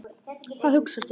Hvað hugsar þú?